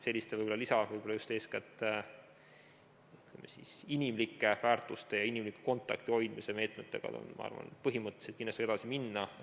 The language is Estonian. Selliste võib-olla eeskätt inimlike väärtuste ja inimliku kontakti hoidmise lisameetmetega, ma arvan, tuleb põhimõtteliselt kindlasti edasi minna.